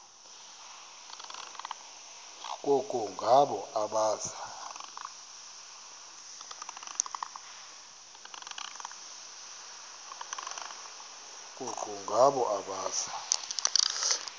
koko ngabo abaza